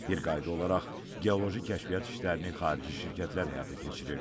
Bir qayda olaraq geoloji kəşfiyyat işlərini xarici şirkətlər həyata keçirirdi.